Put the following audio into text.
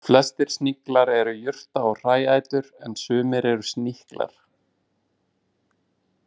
Flestir sniglar eru jurta- og hræætur en sumir eru sníklar.